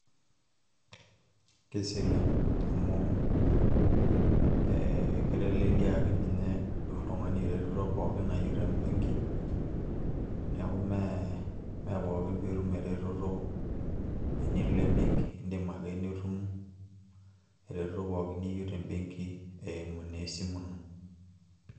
keserian amu, kiteleliaki oltungani eretoto nayieu te benki. neeku pookin pee itum eretoto tenilo ebenki, idim ake nitum pookin niyieu te benki eimu naa esimu ino.